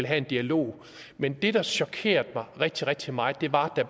have en dialog men det der chokerede mig rigtig rigtig meget var at